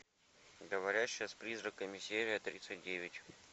говорящая с призраками серия тридцать девять